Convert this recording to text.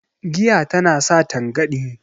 giya tana sa tangani